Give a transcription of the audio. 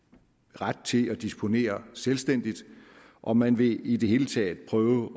ret til at disponere selvstændigt og man vil i det hele taget prøve